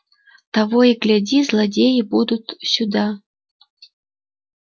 того и гляди злодеи будут сюда